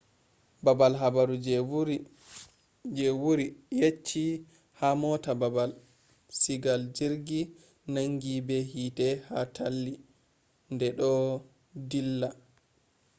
baabal habaru je wuri yecci ha mota baabal sigal jirgi nangi be hiite ha talli de do dilla